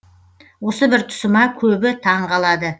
осы бір тұсыма көбі таң қалады